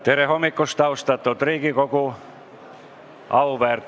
Tere hommikust, austatud Riigikogu!